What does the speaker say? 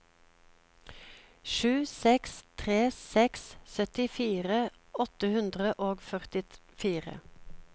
sju seks tre seks syttifire åtte hundre og førtifire